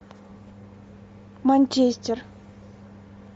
манчестер